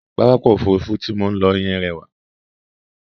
Pápákọ̀ Òfurufú tí mò ń lọ yẹn rẹwà.